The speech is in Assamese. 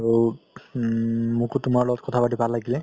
আৰু উম মোকো তুমাৰ লগত কথা পাতি ভাল লাগিলে